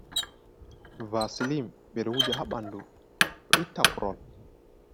Vaselim ɓeɗowuja habandu o itaprol.